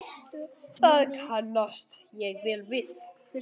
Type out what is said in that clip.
Það kannast ég vel við.